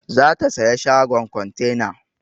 Za ta saya shagon kontena.